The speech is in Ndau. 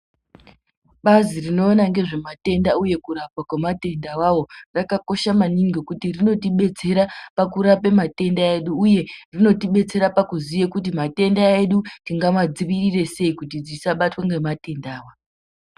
Bazi rinoona ngezvematenda uye kurapwa kwematenda avavo rakakosha maningi ,ngendaa yekuti rinotibetsera pakurapa matenda edu, uye rinotibetsera pakuziye kuti matenda edu, tingamadzivirire sei kuti tisabatwa ngematenda ayo.